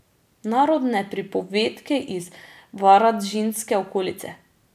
Narodne pripovedke iz Varaždinske okolice.